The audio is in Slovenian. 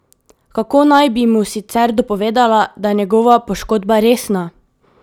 Kako naj bi mu sicer dopovedala, da je njegova poškodba resna?